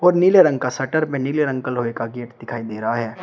और नीले रंग का शटर में नीले रंग का लोहे का गेट दिखाई दे रहा है।